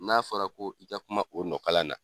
N'a fɔra ko i ka kuma o nɔkala na.